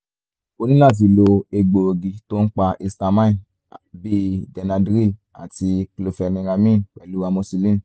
o ní láti lo egbòogi tó ń pa histamine bíi benadryl tàbí chlorpheniramine pẹ̀lú amoxicillin